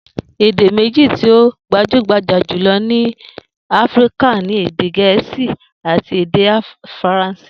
Èdè méjì tí ó gbajúgbajà jùlo̩ ni Áfíríka ni èdè Gè̩é̩sì àti èdè Faransé